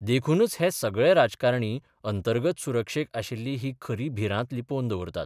देखूनच हे सगळे राजकारणी अंतर्गत सुरक्षेक आशिल्ली ही खरी भिरांत लिपोवन दवरतात.